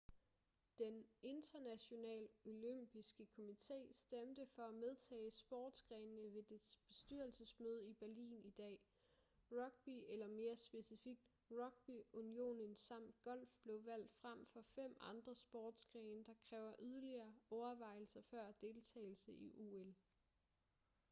den internationale olympiske komité stemte for at medtage sportsgrenene ved dets bestyrelsesmøde i berlin i dag rugby eller mere specifikt rugbyunionen samt golf blev valgt frem for fem andre sportsgrene der kræver yderligere overvejelser før deltagelse i ol